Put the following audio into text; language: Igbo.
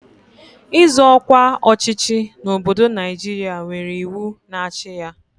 Ịzọ ọkwa ọchịchị n'obodo Naijiria nwere iwu na-achị ya.